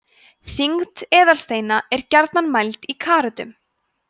þyngd eðalsteina er gjarnan mæld í karötum